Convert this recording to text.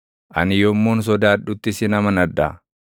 Ani yommuun sodaadhutti sin amanadha.